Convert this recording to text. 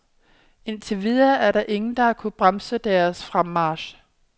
Indtil videre er der ingen, der har kunnet bremse deres fremmarch.